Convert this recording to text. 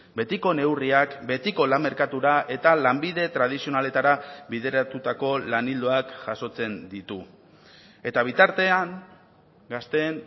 betiko neurriak betiko lan merkatura eta lanbide tradizionaletara bideratutako lan ildoak jasotzen ditu eta bitartean gazteen